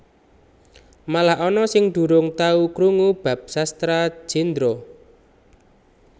Malah ana sing durung tau krungu bab Sastra Jendra